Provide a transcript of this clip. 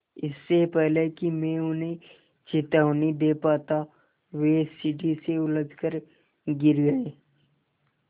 इससे पहले कि मैं उन्हें चेतावनी दे पाता वे सीढ़ी से उलझकर गिर गए